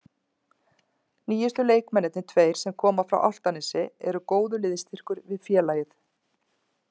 Nýjustu leikmennirnir tveir sem koma frá Álftanesi eru góður liðsstyrkur við félagið.